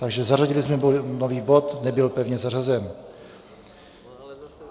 Takže zařadili jsme nový bod, nebyl pevně zařazen.